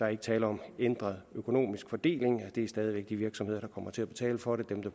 er tale om en ændret økonomisk fordeling det er stadig væk de virksomheder der kommer til at betale for det